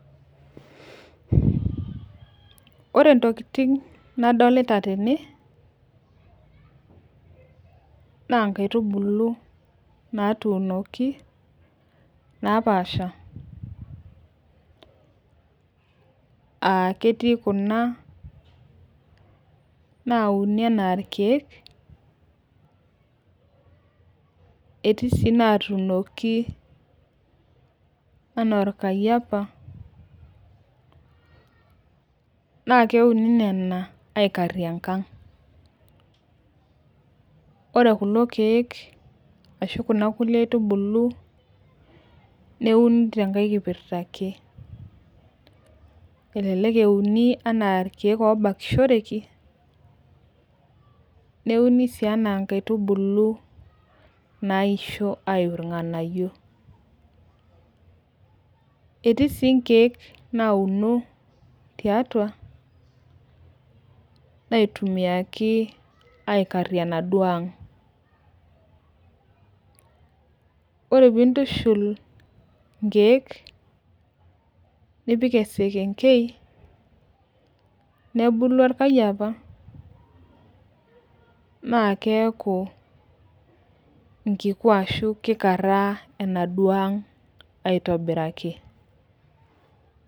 Ore ntokitin nadolita tene, naa nkaitubulu natuunoki, napaasha, aa ketii Kuna, nauni anaa irkeek, etii sii inatuunoki anaa orkayiapa. naa keuni Nena ikarie enkang. ore kulo keek ashu Kuna aitubulu neuni tenkae, kipirta ake. elelek euni anaa irkeek oobakishoreki. neuni sii anaa nkaitubulu nauni ayiu irnganayio. etii sii I keek naunore tiatua. naitumiaki aikarie enaduoo ang. ore pee intushul inkeek, nipik eselenkei, nebulu orkayiapa. naa keeku nkiku ashu kikaraa enaduoo ang aitobiraki.